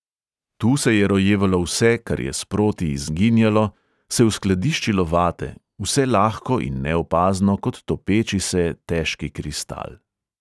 Tu se je rojevalo vse, kar je sproti izginjalo, se uskladiščilo vate, vse lahko in neopazno kot topeči se težki kristal.